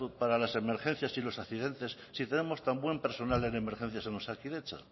para las emergencias y los accidentes si tenemos tan buen personal en emergencias en osakidetza